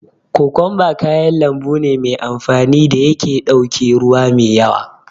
Kokumba kaya lambu ne me amfani da yake ɗauke ruwa me yawa.